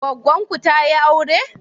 Goggon ku tayi aure?